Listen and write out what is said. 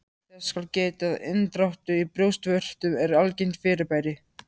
Þess skal getið að inndráttur í brjóstvörtum er algengt fyrirbæri.